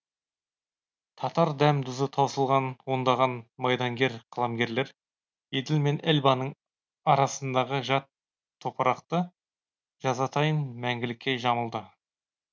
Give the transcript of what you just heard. татар дәм тұзы таусылған ондаған майдангер қаламгерлер еділ мен эльбаның арасындағы жат топырақты жазатайым мәңгілікке жамылды